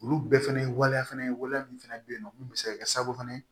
Olu bɛɛ fɛnɛ ye waleya fana ye waliya min fɛnɛ bɛ yen nɔ mun bɛ se ka kɛ sabu fana